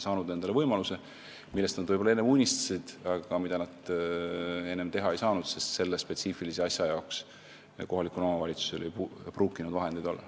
Nad on saanud võimaluse teha midagi, millest nad võib-olla unistasid, aga mida nad enne teha ei saanud, sest selle spetsiifilise asja jaoks ei pruukinud kohalikul omavalitsusel vahendeid olla.